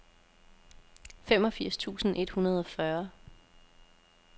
femogfirs tusind et hundrede og fyrre